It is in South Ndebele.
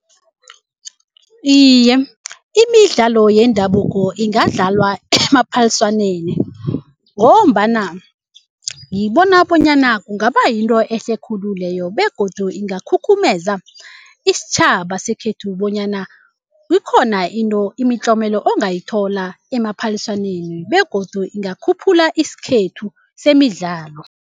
Iye imidlalo yendabuko ingadlalwa emaphaliswaneni ngombana ngibona bonyana kungaba yinto ehle khulu leyo begodu ingakhukhumeza isitjhaba sekhethu bonyana ikhona into imitlomela ongayithola emaphaliswaneni begodu ingakhuphula isikhethu semidlalo.